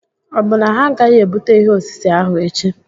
Ọ bụ na ha agaghị ebute ihe osise ahụ echi?